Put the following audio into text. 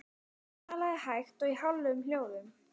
Helgi Sigurðsson verkfræðingur ráðinn hitaveitustjóri í Reykjavík.